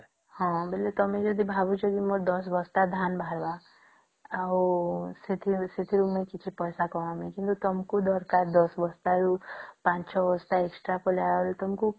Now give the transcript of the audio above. ହଁ ବେଳେ ତମେ ଯଦି ଭାବୁଛ କି ମୋର ୧୦ ବସ୍ତା ଧାନ ବାହାରିବା ଆଉ ସେଥିରୁ ମୁଇ କିଛି ପଇସା କମେଇବି କିନ୍ତୁ ତମକୁ ଦରକାର ୧୦ ବସ୍ତା ରୁ ୫ ବସ୍ତା extra କଲା ରୁ